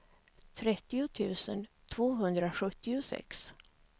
trettio tusen tvåhundrasjuttiosex